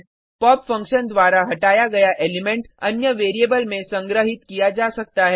pop function द्वारा हटाया गया एलिमेंट अन्य वेरिएबल में संग्रहित किया जा सकता है